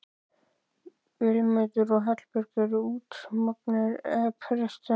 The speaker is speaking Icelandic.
Vilmundur og Hallbjörn eru útsmognir esperantistar